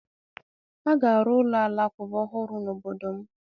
A ga arụ ụlọ Alakụba ọhụrụ n'obodo m